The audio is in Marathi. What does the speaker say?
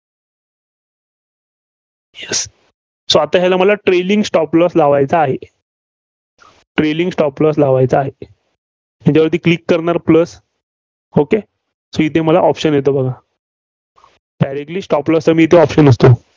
So आता मला trailing stop loss लावायचा आहे. trailing stop loss लावायचा आहे. ह्याच्यावरती click करणार plus okay so इथे मला option येतो बघा. directly stop loss चा इथे option असतो.